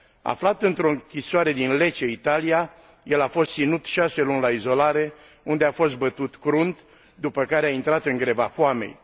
Aflat într o închisoare din Lecce, Italia, el a fost ținut șase luni la izolare, unde a fost bătut crunt, după care a intrat în greva foamei.